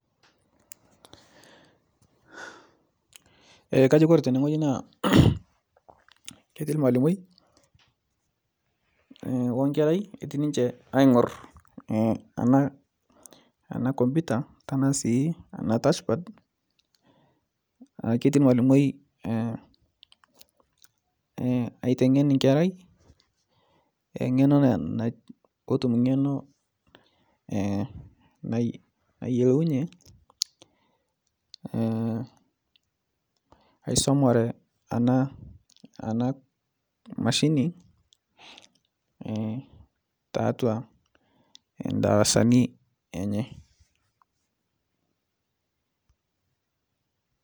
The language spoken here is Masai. Kajo Kore tene naa ketii lmalimoi onkerai ketii niche aing'or ana komputa tanasii ana tashpad keti lmalimoi aitengen nkerai te ng'eno petum ng'eno nayelounye aisomare ana mashini tatua ndarasani enye.